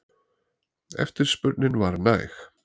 Eftirspurnin var næg.